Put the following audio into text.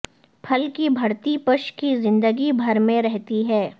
پھل کی بھرتی بش کی زندگی بھر میں رہتی ہیں